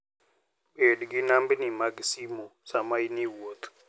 Bed gi nambni mag simo sama in e wuoth.